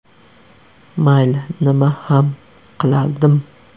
Mayli, nima ham qilardim.